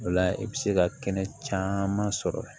O la i bɛ se ka kɛnɛ caman sɔrɔ